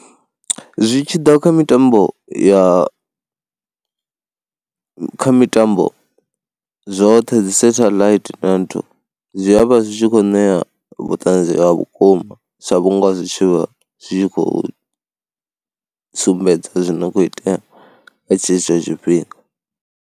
Zwi tshi ḓa kha mitambo ya kha mitambo zwoṱhe dzisethaḽaithi nthu, zwi a vha zwi zwi khou ṋea vhuṱanzi ha vhukuma sa vhunga zwi tshi vha zwi khou sumbedza zwi no khou itea kha tshetsho tshifhinga.